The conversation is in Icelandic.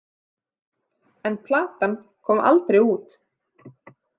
En platan kom aldrei út.